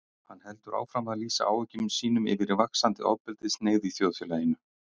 Hann heldur áfram að lýsa áhyggjum sínum yfir vaxandi ofbeldishneigð í þjóðfélaginu.